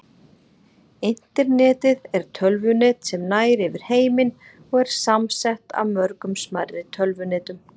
Internetið er tölvunet sem nær yfir heiminn og er samsett af mörgum smærri tölvunetum.